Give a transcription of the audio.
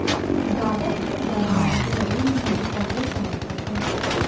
दावा किया जा रहा है कि नरेंद्र मोदी कांग्रेस समर्थक है